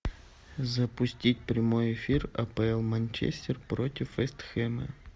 запустить прямой эфир апл манчестер против вест хэма